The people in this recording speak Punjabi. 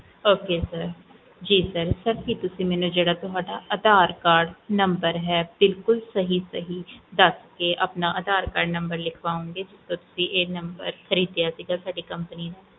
oksir ਜੀ sir ਕੀ sir ਤੁਸੀਂ ਮੈਨੂੰ ਜਿਹੜਾ ਤੁਹਾਡਾ ਅਧਾਰ cardnumber ਹੈ ਬਿਲਕੁਲ ਸਹੀ ਸਹੀ ਦਾਸ ਕੇ ਆਪਣਾ ਅਧਾਰ cardnumber ਲਿਖਵਾਓਂਗੇ ਤੁਸੀਂ ਇਹ number ਖਰੀਦਿਆ ਸੀਗਾ ਸਾਡੀ company ਦਾ